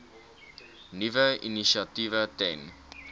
nuwe initiatiewe ten